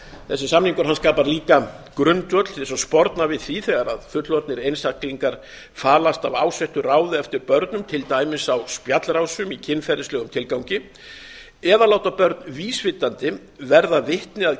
þessi samningur skapar líka grundvöll til að sporna við því þegar fullorðnir einstaklingar falast af ásettu ráði eftir börnum til dæmis á spjallrásum í kynferðislegum tilgangi eða láta börn vísvitandi verða vitni að